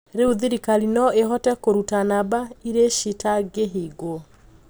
"Riû thirikari noo ihote kũrũta namba iricitangihingwo.